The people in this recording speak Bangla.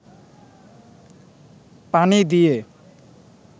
পানি দিয়ে